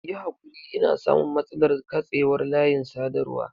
Yi hakuri ina samun matsalar katsewar layin sadarwa.